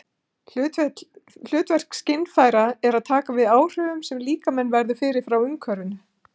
Hlutverk skynfæra er að taka við áhrifum sem líkaminn verður fyrir frá umhverfinu.